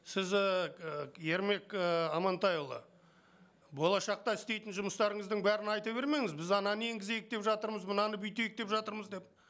сіз ііі ермек ііі амантайұлы болашақта істейтін жұмыстарыңыздың бәрін айта бермеңіз біз ананы енгізейік деп жатырмыз мынаны бүйтейік деп жатырмыз деп